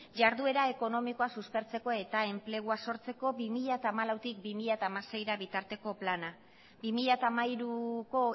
jarduera ekonomikoa suspertzeko eta enplegua sortzeko bi mila hamalautik bi mila hamaseira bitarteko plana bi mila hamairuko